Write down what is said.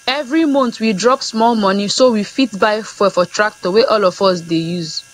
every month we drop small money so we fit buy fuel for tractor wey all of us dey use